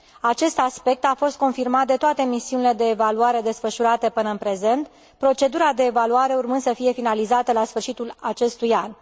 Acest aspect a fost confirmat de toate misiunile de evaluare desfășurate până în prezent, procedura de evaluare urmând să fie finalizată la sfârșitul acestui an.